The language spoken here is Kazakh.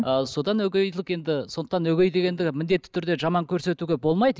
ал содан өгейлік енді сондықтан өгей дегенді міндетті түрде жаман көрсетуге болмайды